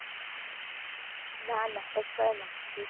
ના ના FY માં.